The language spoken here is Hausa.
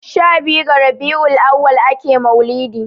shabiyu ga rabiul auwal ake maulidi